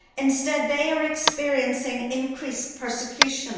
Instead they are experiencing increased persecution.